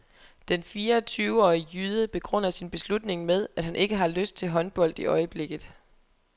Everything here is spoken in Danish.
Den fireogtyveårige jyde begrunder sin beslutning med, at han ikke har lyst til håndbold i øjeblikket.